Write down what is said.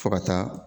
Fo ka taa